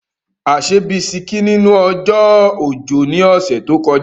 A ṣe bisikí nínú ọjọ́ òjò ní ọ̀sẹ̀ tó kọjá.